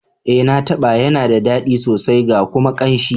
Eh, na taba yana da dadi sosai ga kuma kanshi.